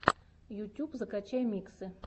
ютюб закачай миксы